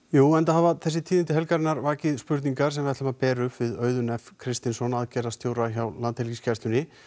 jú enda hafa tíðindi helgarinnar vakið spurningar sem við ætlum að bera upp við Auðun f Kristinsson hjá Landhelgisgæslunni